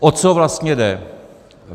O co vlastně jde?